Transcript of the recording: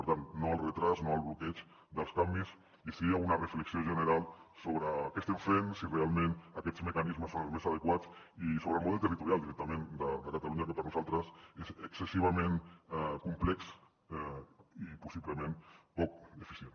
per tant no a l’endarreriment no al bloqueig dels canvis i sí a una reflexió general sobre què estem fent si realment aquests mecanismes són els més adequats i sobre el model territorial directament de catalunya que per nosaltres és excessivament complex i possiblement poc eficient